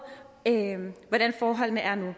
hvordan forholdene er nu